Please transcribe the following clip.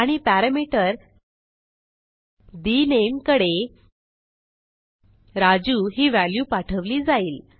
आणि parameter the name कडे राजू ही व्हॅल्यू पाठवली जाईल